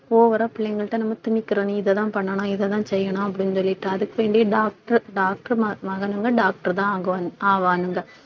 over ஆ பிள்ளைங்கள்ட்ட நம்ம திணிக்கிறோம் நீ இதான் பண்ணணும் இததான் செய்யணும் அப்படின்னு சொல்லிட்டு அதுக்கு வேண்டியே doctor doctor மக~ மகனுங்க doctor தான் ஆகோ~ ஆவானுங்க